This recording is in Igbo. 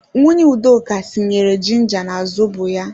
Nwunye Udoka tinyere jinja na zobo ya